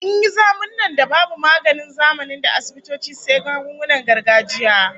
An yi zamunna da babu maganin zamanin da asibitoci sai magungunan gargajiya